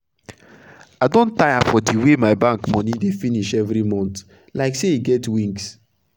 i don tire for d way my bank moni dey finish everi month like say e get wings